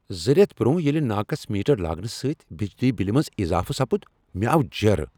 زٕ ریتھ برونہہ ییٚلہ ناقص میٹر لاگنہ سۭتۍ بجلی بِلہ منز اضافہٕ سپُد ، مےٚ آو جیرٕ۔